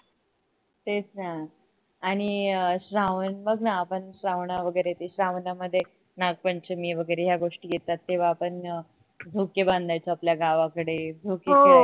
तेच न आणि अह श्रावण बघ न आपण श्रावणा वगरे ते श्रावणामध्ये नागपंचमी वगरे या गोष्टी येतात तेव्हा आपण झोके बांधायचो आपल्या गावाकडे झोके खेळाय